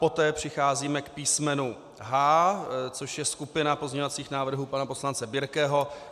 Poté přicházíme k písmenu H, což je skupina pozměňovacích návrhů pana poslance Birkeho.